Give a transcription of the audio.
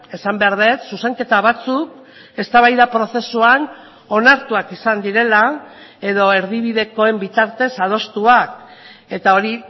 esan behar dut zuzenketa batzuk eztabaida prozesuan onartuak izan direla edo erdibidekoen bitartez adostuak eta hori